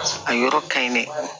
A yɔrɔ ka ɲi dɛ